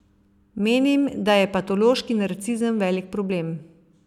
Menim, da je patološki narcizem velik problem.